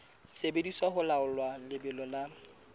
sebediswa ho laola lebelo la